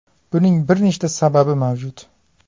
Buning bir nechta sababi mavjud.